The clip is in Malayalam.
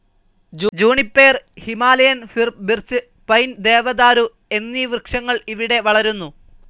Juniper Himalayan fir birch pine ദേവതാരു എന്നീ വൃക്ഷങ്ങൾ ഇവിടെ വളരുന്നു.